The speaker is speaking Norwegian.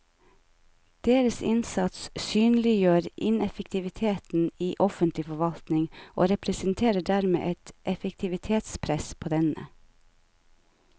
Deres innsats synliggjør ineffektiviteten i offentlig forvaltning og representerer dermed et effektivitetspress på denne.